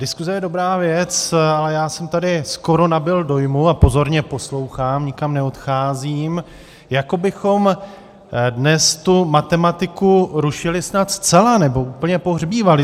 Diskuze je dobrá věc, ale já jsem tady skoro nabyl dojmu - a pozorně poslouchám, nikam neodcházím - jako bychom dnes tu matematiku rušili snad zcela, nebo úplně pohřbívali.